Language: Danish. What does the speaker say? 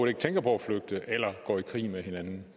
ikke tænker på at flygte eller gå i krig med hinanden